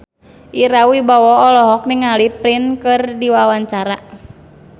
Ira Wibowo olohok ningali Prince keur diwawancara